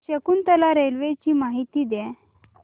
Shakuntala railway ची माहिती द्या